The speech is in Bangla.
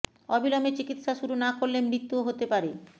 অবিলম্বে চিকিৎসা শুরু না করলে মৃত্যুও হতে পারে